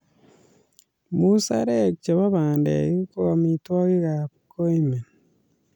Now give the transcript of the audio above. Musarek chebo pandek ko amitwogikap koimen